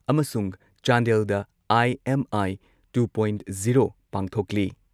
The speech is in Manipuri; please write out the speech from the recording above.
ꯑꯃꯁꯨꯡ ꯆꯥꯟꯗꯦꯜꯗ ꯑꯥꯏ.ꯑꯦꯝ.ꯑꯥꯏ.ꯇꯨ ꯄꯣꯏꯟꯠ ꯖꯤꯔꯣ ꯄꯥꯡꯊꯣꯛꯂꯤ ꯫